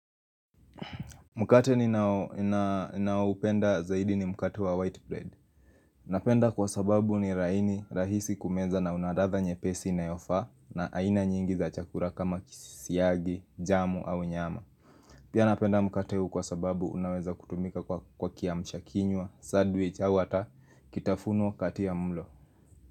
Mkate ninaoupenda zaidi ni mkate wa white bread. Napenda kwa sababu ni laini, rahisi kumeza na una latha nyepesi inayofaa na aina nyingi za chakula kama kisisiagi, jamu au nyama. Pia napenda mkate huu kwa sababu unaweza kutumika kwa kiamshakinywa, sandwitch, au hata, kitafunwa kati ya mlo.